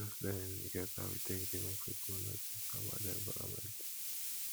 religious learning get how e take dey make pipo know things about their environment